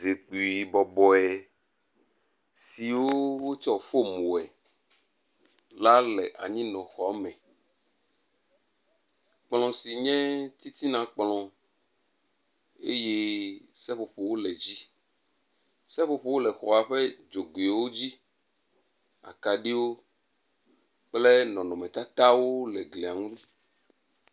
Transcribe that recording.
Zikpui bɔbɔe siwo wotsɔ fom wɔe la le anyinɔ xɔ me. Kplɔ si nye titina kplɔ eye seƒoƒowo le edzi. Seƒoƒowo le xɔa ƒe dzogoewo dzi, akaɖiwo kple nɔnɔmetatawo le glia ŋu.